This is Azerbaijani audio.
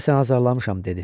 Deyəsən azarlamışam dedi.